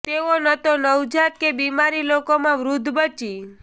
તેઓ ન તો નવજાત કે બિમાર લોકોમાં વૃદ્ધ બચી